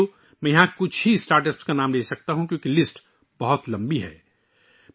دوستو، میں یہاں صرف چند اسٹارٹ اپس کے نام بتا سکتا ہوں، کیونکہ فہرست بہت لمبی ہے